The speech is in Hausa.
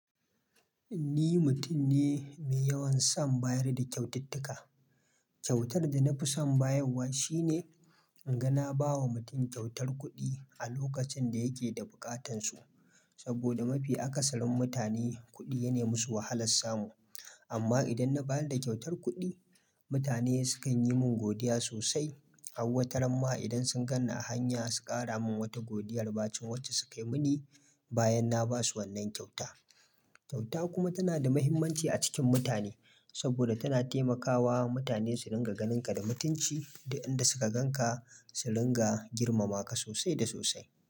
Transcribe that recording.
Ni mutum ne mai yawan son bayar da kyaututtuka. Kyautar da na fi son bayarwa shine in ga na ba wa mutum kyautar kuɗi a lokacin da yake da bukatansu. Saboda mafi akasarin mutane kuɗi ya nai musu wahalar samu. Amma idan na ba da kyautar kuɗi, mutane sukan yi min godiya sosai. Hauwataramma idan sun gani a hanya su ƙara min wata godiyar bacin waje su kai mini bayan na ba su wannan kyauta. Kyauta kuma tana da muhimmanci a cikin mutane saboda tana taimakawa mutane su ringa ganinka da mutunci duk inda suka gan ka su ringa girmama ka sosai da sosai.